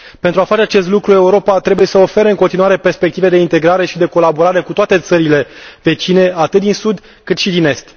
Pentru a face acest lucru, Europa trebuie să ofere în continuare perspective de integrare și de colaborare cu toate țările vecine, atât din sud, cât și din est.